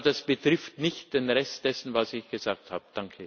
Aber das betrifft nicht den Rest dessen, was ich gesagt habe.